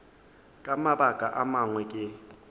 ka mabaka a mangwe ke